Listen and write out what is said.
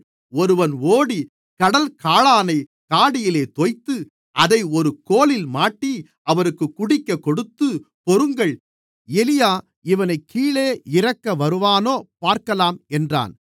ஒருவன் ஓடி கடல் காளானைக் காடியிலே தோய்த்து அதை ஒரு கோலில் மாட்டி அவருக்குக் குடிக்கக்கொடுத்து பொறுங்கள் எலியா இவனைக் கீழே இறக்க வருவானோ பார்க்கலாம் என்றான்